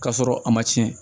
K'a sɔrɔ a ma tiɲɛ